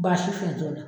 Baasi foyi t'o la